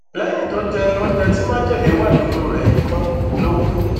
lẹyìn tó jẹ oúnjẹ tí májèlé wà nínú rẹ yìí tán ló kù